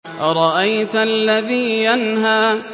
أَرَأَيْتَ الَّذِي يَنْهَىٰ